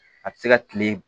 A bɛ se ka kile